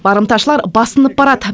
барымташылар басынып барады